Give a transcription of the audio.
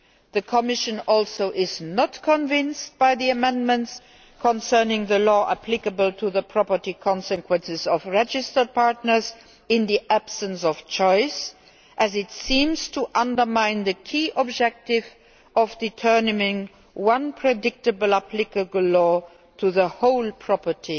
The Commission is also not convinced by the amendments concerning the law applicable to the property consequences of registered partners in the absence of choice, as it seems to undermine the key objective of applying one predictable applicable law to the whole property